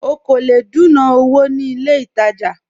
Ọ̀ kọ́ lẹ̀ dùnà owó ní ilẹ̀ ìtajà